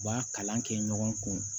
U b'a kalan kɛ ɲɔgɔn kun